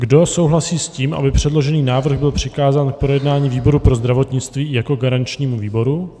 Kdo souhlasí s tím, aby předložený návrh byl přikázán k projednání výboru pro zdravotnictví jako garančnímu výboru?